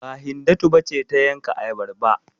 Ba, Hindatu ba ce ta yanka ayabar ba?